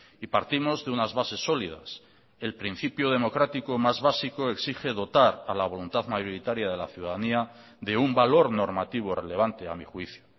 y partimos de unas bases sólidas el principio democrático más básico exige dotar a la voluntad mayoritaria de la ciudadanía de un valor normativo relevante a mi juicio